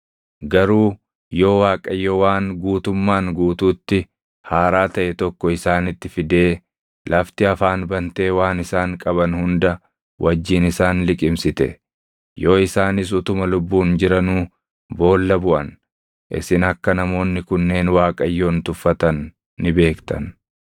Garuu yoo Waaqayyo waan guutummaan guutuutti haaraa taʼe tokko isaanitti fidee lafti afaan bantee waan isaan qaban hunda wajjin isaan liqimsite, yoo isaanis utuma lubbuun jiranuu boolla buʼan, isin akka namoonni kunneen Waaqayyoon tuffatan ni beektan.”